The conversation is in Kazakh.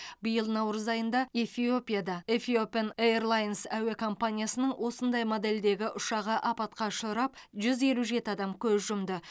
биыл наурыз айында эфиопияда эфиопен эйрлайнс әуе компаниясының осындай модельдегі ұшағы апатқа ұшырап жүз елу жеті адам көз жұмды